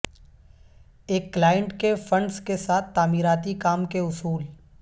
ایک کلائنٹ کے فنڈز کے ساتھ تعمیراتی کام کے اصول